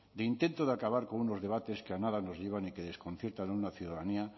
de intento de acabar con unos debates que a nada nos llevan y que desconciertan a una ciudadanía